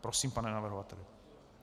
Prosím, pane navrhovateli.